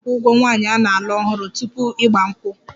A na-akwụ ụgwọ nwaanyị a na-alụ ọhụrụ tupu 'Igba nkwu'?